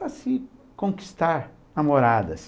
para se conquistar namoradas.